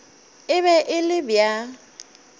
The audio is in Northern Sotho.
e be e le bja